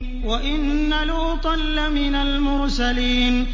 وَإِنَّ لُوطًا لَّمِنَ الْمُرْسَلِينَ